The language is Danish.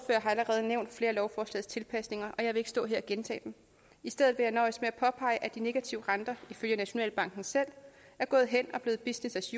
allerede nævnt flere af lovforslagets tilpasninger og jeg vil ikke stå her og gentage dem i stedet vil jeg nøjes med at påpege at de negative renter ifølge nationalbanken selv er gået hen og blevet business as